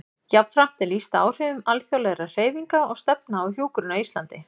Jafnframt er lýst áhrifum alþjóðlegra hreyfinga og stefna á hjúkrun á Íslandi.